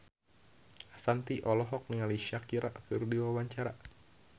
Ashanti olohok ningali Shakira keur diwawancara